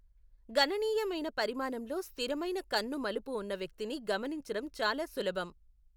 గణనీయమైన పరిమాణంలో స్థిరమైన కన్ను మలుపు ఉన్న వ్యక్తిని గమనించడం చాలా సులభం.